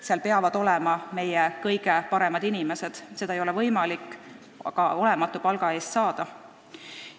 Seal peavad olema meie kõige paremad inimesed, neid ei ole võimalik aga olematu palga eest tööle saada.